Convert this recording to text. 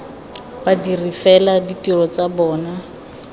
badiri fela ditiro tsa bona